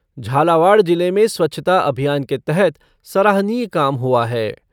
झालावाड़ जिले में स्वच्छता अभियान के तहत सराहनीय काम हुआ है।